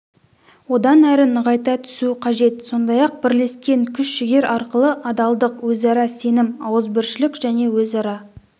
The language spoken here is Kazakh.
одан әрі нығайта түсу қажет сондай-ақ бірлескен күш-жігер арқылы адалдық өзара сенім ауызбіршілік және өзара